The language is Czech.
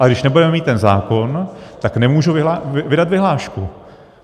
Ale když nebudeme mít ten zákon, tak nemůžu vydat vyhlášku.